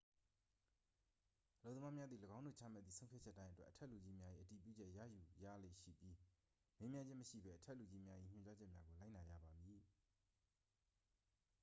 အလုပ်သမားမျာသည် ၎င်းတို့ချမှတ်သည့် ဆုံးဖြတ်ချက်တိုင်းအတွက် အထက်လူကြီးများ၏ အတည်ပြုချက် ရယူရလေ့ရှိပြီး မေးမြန်းခြင်း မရှိဘဲ အထက်လူကြီးများ၏ ညွှန်ကြားချက်များကို လိုက်နာရပါမည်